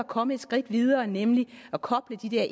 kommet et skridt videre nemlig at koble de der